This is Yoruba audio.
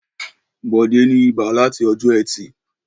Bọ̀dé ní ibà láti ọjọ́ ẹtì.